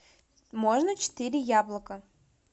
можно четыре яблока